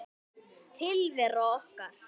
Tilvera okkar